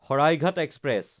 Saraighat express